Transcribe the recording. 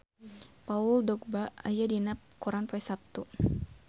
Paul Dogba aya dina koran poe Saptu